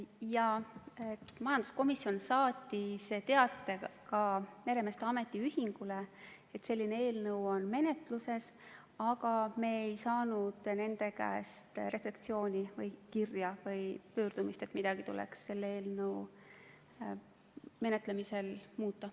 Jaa, majanduskomisjon saatis ka meremeeste ametiühingule teate, et selline eelnõu on menetluses, aga me ei saanud nende käest refleksiooni või kirja või pöördumist, et midagi tuleks selle eelnõu menetlemisel muuta.